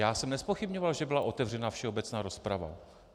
Já jsem nezpochybňoval, že byla otevřena všeobecná rozprava.